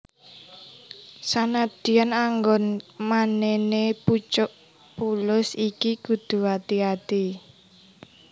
Sanadyan anggon manèné pucuk pulus iki kudu ati ati